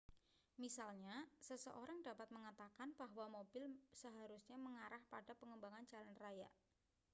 misalnya seseorang dapat mengatakan bahwa mobil seharusnya mengarah pada pengembangan jalan raya